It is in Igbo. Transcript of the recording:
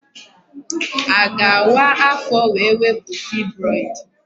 A ga-awa afọ wee wepụ fibroid?